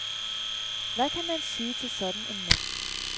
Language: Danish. Hvad kan man sige til sådan en mand?